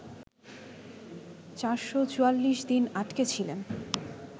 ৪৪৪ দিন আটকে ছিলেন